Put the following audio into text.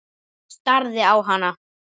Starði á hana.